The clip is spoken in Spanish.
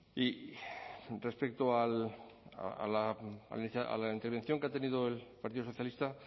y respecto a la intervención que ha tenido el partido socialista